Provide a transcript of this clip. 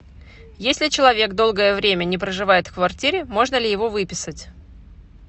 если человек долгое время не проживает в квартире можно ли его выписать